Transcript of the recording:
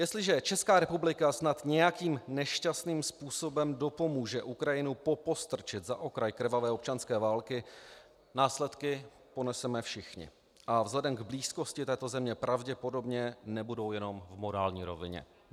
Jestliže Česká republika snad nějakým nešťastným způsobem dopomůže Ukrajinu popostrčit za okraj krvavé občanské války, následky poneseme všichni a vzhledem k blízkosti této země pravděpodobně nebudou jenom v morální rovině.